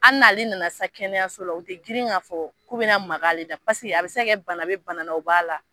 Hali n'ale nana sisan kɛnɛyaso la u ti girin ka fɔ k'u bɛna maka ale la paseke a bi se ka kɛ bana be bana na o b'a la.